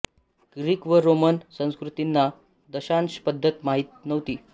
Greek व Roman संस्कृतींना दशांश पद्धत माहीत नव्हती